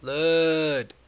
blood